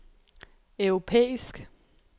europæisk